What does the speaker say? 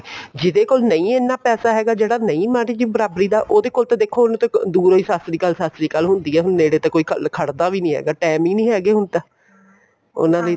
ਜਿਹਦੇ ਕੋਲ ਨਹੀਂ ਇੰਨਾ ਪੈਸਾਂ ਹੈਗਾ ਜਿਹੜਾ ਨਹੀਂ ਮਾਰੀ ਜੀ ਬਰ੍ਬਾਰੀ ਦਾ ਉਹਦੇ ਕੋਲ ਤਾਂ ਦੇਖੋ ਉਹਨੂੰ ਤਾਂ ਦੂਰੋ ਹੀ ਸਤਿ ਸ਼੍ਰੀ ਅਕਾਲ ਸਤਿ ਸ਼੍ਰੀ ਅਕਾਲ ਹੁੰਦੀ ਏ ਹੁਣ ਨੇੜੇ ਤਾਂ ਕੋਈ ਵੀ ਖੜਦਾ ਵੀ ਨਹੀਂ ਹੈਗਾ ਟੇਮ ਹੀ ਨਹੀਂ ਹੈਗੇ ਹੁਣ ਤਾਂ ਉਹਨਾ ਲਈ ਤਾਂ